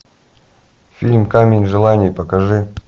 фильм камень желаний покажи